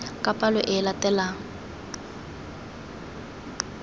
ka palo e e latelang